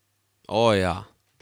O, ja.